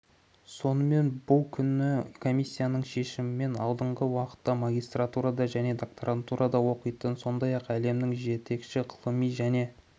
сонымен бұл күні комиссияның шешімімен алдағы уақытта магистратурада және докторантурада оқитын сондай-ақ әлемнің жетекші ғылыми және